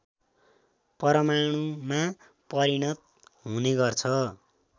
परमाणुमा परिणत हुनेगर्छ